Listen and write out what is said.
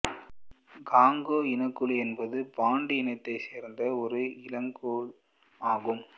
Congo இனக்குழு என்பது Bantu இனத்தைச் சேர்ந்த ஒரு இனக்குழு ஆகும்